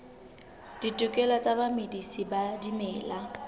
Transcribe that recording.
ditokelo tsa bamedisi ba dimela